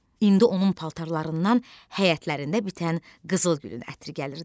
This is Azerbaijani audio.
İndi onun paltarlarından həyətlərində bitən qızıl gülün ətri gəlirdi.